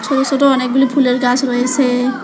সোটো সোটো অনেকগুলি ফুলের গাস রয়েসে।